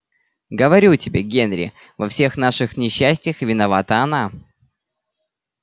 говорю тебе генри во всех наших несчастьях виновата она